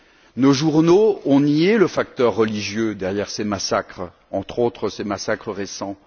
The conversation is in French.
Or, nos journaux ont nié le facteur religieux derrière ces massacres, entre autres ces massacres récents.